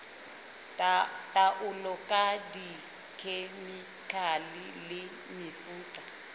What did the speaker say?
taolo ka dikhemikhale le mefuta